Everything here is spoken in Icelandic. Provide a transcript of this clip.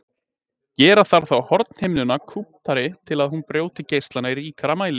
Gera þarf þá hornhimnuna kúptari til að hún brjóti geislana í ríkara mæli.